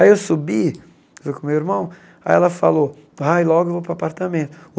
Aí eu subi com o meu irmão, aí ela falou, vai logo, eu vou para o apartamento.